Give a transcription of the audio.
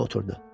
Və oturdu.